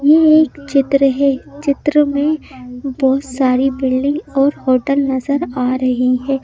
यह एक चित्र है चित्र में बहुत सारी बिल्डिंग और होटल नजर आ रहे हैं।